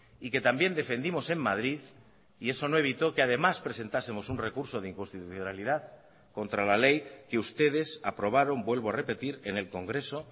y que también defendimos en madrid y eso no evitó que además presentásemos un recurso de inconstitucionalidad contra la ley que ustedes aprobaron vuelvo a repetir en el congreso